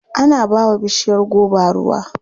Ana ba wa bishiyar goba ruwa.